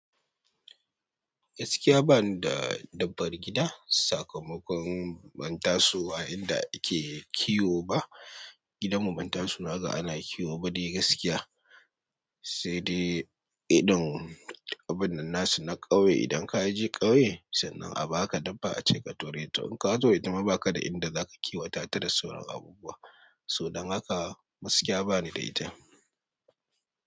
Gaskiya bana da dabbar gida. Sakamakon ban tasowa inda ake kiwo ba. Gidan mu ban taso naga ana kiwo ba dai gaskiya. Sai dai idon abin nan na ƙauye. Idan ka je ƙauye sannan a ba ka dabba a ce ka ture ta. In ka ture ta ma baka da inda zaka kiwo ta tare da sauran abubuwa. Soboda haka gaskiya bani da ita.